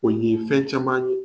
O yee fɛn caman ye